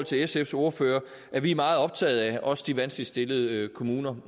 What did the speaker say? til sfs ordfører at vi er meget optaget af også de vanskeligt stillede kommuner